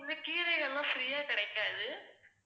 இந்த கீரைங்க எல்லாம் free யா கிடைக்காது.